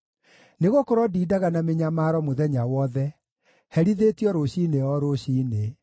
Nĩgũkorwo ndindaga na mĩnyamaro mũthenya wothe; herithĩtio rũciinĩ o rũciinĩ.